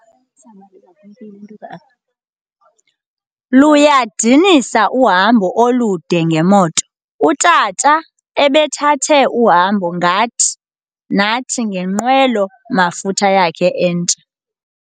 Luyadinisa uhambo olude ngemoto. utata ebethathe uhambo nathi ngenqwelo mafutha yakhe entsha